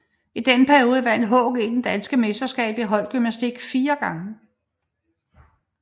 I denne periode vandt HG det danske mesterskab i holdgymnastik fire gange